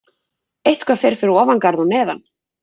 Eitthvað fer fyrir ofan garð og neðan